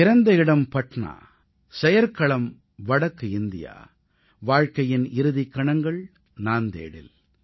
பிறந்த இடம் பட்னா செயற்களம் வடக்கு இந்தியா வாழ்க்கையின் இறுதிக் கணங்கள் நாந்தேடில்